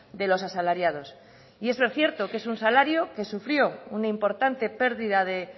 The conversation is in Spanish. de los asalariados y es lo cierto que es un salario que sufrió una importante pérdida de